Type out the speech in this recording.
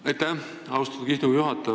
Aitäh, austatud istungi juhataja!